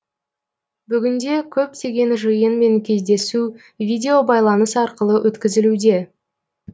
бүгінде көптеген жиын мен кездесу видеобайланыс арқылы өткізілуде